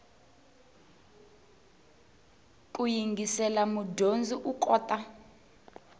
ku yingisela mudyondzi u kota